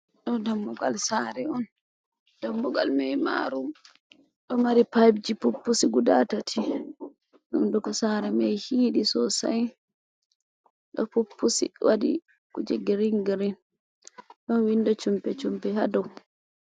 Ɗo dammugal Sare'on. Dammugal mai maru ɗo Mari payipji je Puppusi guda tati. Hunduko Sare mai hidi Sosai ɗo Puppusi waɗi kuje Girin girin ɗon windo Shumpe shumbi ha dou.